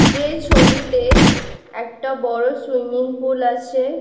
যে ছবিতে একটা বড়ো সুইমিং পুল আছে।